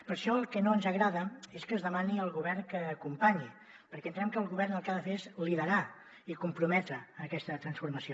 per això el que no ens agrada és que es demani al govern que acompanyi perquè entenem que el govern el que ha de fer és liderar i comprometre aquesta transformació